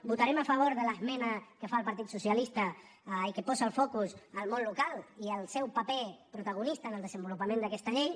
votarem a favor de l’esmena que fa el partit socialista i que posa el focus al món local i al seu paper protagonista en el desenvolupament d’aquesta llei